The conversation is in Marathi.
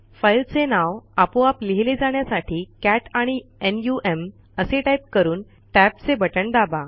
फाईलचे नाव आपोआप लिहिले जाण्यासाठी कॅट आणि नम असे टाईप करून टॅबचे बटण दाबा